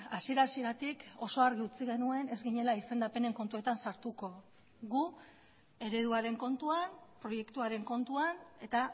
hasiera hasieratik oso argi utzi genuen ez ginela izendapenen kontuetan sartuko gu ereduaren kontuan proiektuaren kontuan eta